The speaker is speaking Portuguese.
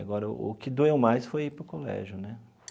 Agora, o que doeu mais foi ir para o colégio né.